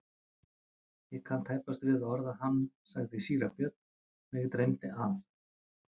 Ég kann tæpast við að orða hann, sagði síra Björn,-mig dreymdi að.